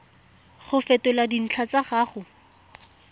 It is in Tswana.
go fetola dintlha tsa gago